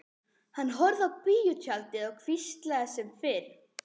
Hann horfði á bíótjaldið og hvíslaði sem fyrr.